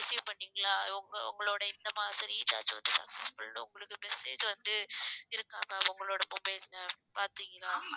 receive பண்ணீங்களா உங்க~ உங்களோட இந்த மாசம் recharge வந்து success full னு உங்களுக்கு message வந்து இருக்காங்க ma'am உங்களோட mobile ல பார்த்தீங்களா